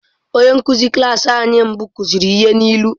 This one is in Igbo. Onye nkụzi klas anyị mbụ kụziri ihe n’ilu.